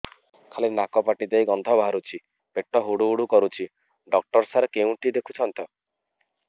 ଖାଲି ନାକ ପାଟି ଦେଇ ଗଂଧ ବାହାରୁଛି ପେଟ ହୁଡ଼ୁ ହୁଡ଼ୁ କରୁଛି ଡକ୍ଟର ସାର କେଉଁଠି ଦେଖୁଛନ୍ତ